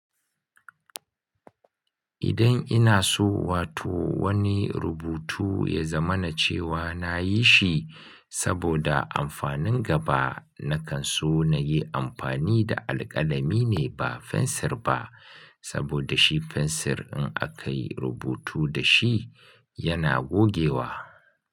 Idan ina so wato wani rubutu ya zama na cewa na yi shi saboda amfanin gaba, na kan so na yi amfani da alƙalami ne ba fensir ba, saboda shi fensir in aka yi rubutu da shi yana gogewa.